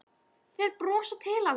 Þeir brosa til hans.